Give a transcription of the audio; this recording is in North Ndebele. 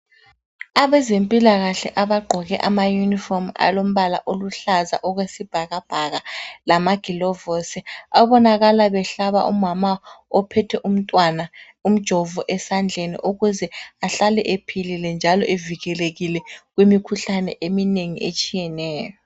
Abezempilakahle abagqoke amayunifomu alombala oluhlaza okwesibhakabhaka lamagilovusi, abonakala behlaba umama ophethe umntwana umjovo esandleni ukuze ahlale ephilile njalo evikelekile kumikhuhlane eminengi etshiyeneyo.